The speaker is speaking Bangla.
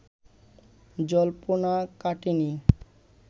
জল্পনা কাটেনি